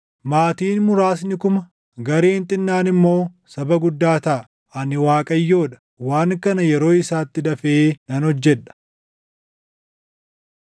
Maatiin muraasni kuma, gareen xinnaan immoo saba guddaa taʼa. Ani Waaqayyoo dha; waan kana yeroo isaatti dafee nan hojjedha.”